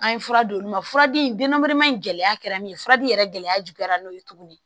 An ye fura d'olu ma fura di in gɛlɛya kɛra min ye furaji yɛrɛ gɛlɛya juguya n'o ye tuguni